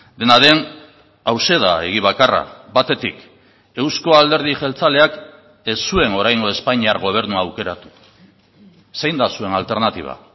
dena den hauxe da egi bakarra batetik eusko alderdi jeltzaleak ez zuen oraingo espainiar gobernua aukeratu zein da zuen alternatiba